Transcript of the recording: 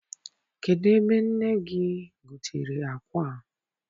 Kedụ ebe nne gị gotere akwa a?